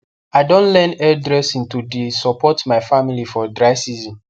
i don learn hair dressing to the support my family for dry season